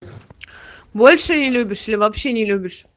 больше не любишь или вообще не любишь